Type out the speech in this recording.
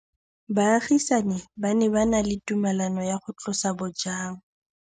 Baagisani ba ne ba na le tumalanô ya go tlosa bojang.